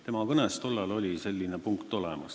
Tema kõnes oli tollal selline punkt olemas.